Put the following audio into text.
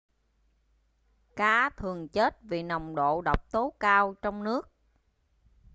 cá thường chết vì nồng độ độc tố cao trong nước